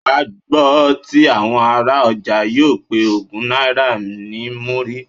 Wà á gbọ́ tí àwọn ará ọjà yóò pe ogún náírà ní múrí.